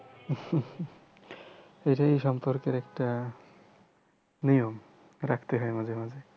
এটাই সম্পর্কের একটা নিয়ম রাখতে হয় মাঝে মাঝে।